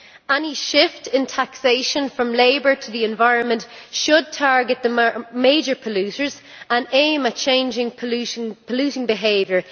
Any shift in taxation from labour to the environment should target the major polluters and aim at changing polluting behaviour.